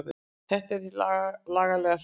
Þetta er hin lagalega hlið.